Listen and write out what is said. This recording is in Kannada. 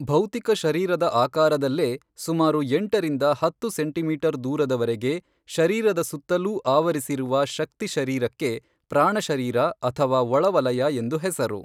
ಭೌತಿಕಶರೀರದ ಆಕಾರದಲ್ಲೇ ಸುಮಾರು ಎಂಟರಿಂದ ಹತ್ತು ಸೆಂಟಿಮೀಟರ್ ದೂರದವರೆಗೆ ಶರೀರದ ಸುತ್ತಲೂ ಆವರಿಸಿರುವ ಶಕ್ತಿ ಶರೀರಕ್ಕೆ ಪ್ರಾಣಶರೀರ ಅಥವಾ ಒಳವಲಯ ಎಂದು ಹೆಸರು.